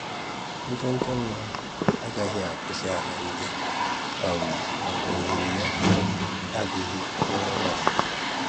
Nchọ́chọ́ nwa ahụ agaghị akụwasị àlà ndị a um maka òhèrè ya um adịghị n'ọrụ a